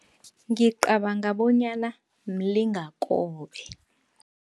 Ngicabanga bonyana mlingakobe.